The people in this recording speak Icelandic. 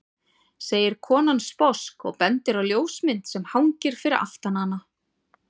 segir konan sposk og bendir á ljósmynd sem hangir fyrir aftan hana.